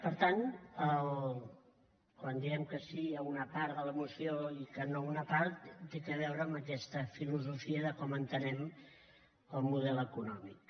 per tant quan diem que sí a una part de la moció i que no a una part té a veure amb aquesta filosofia de com entenem el model econòmic